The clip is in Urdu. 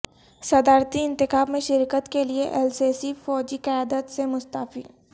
صدارتی انتخاب میں شرکت کے لیے السیسی فوجی قیادت سے مستعفی